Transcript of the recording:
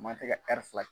Ma tɛ ka fila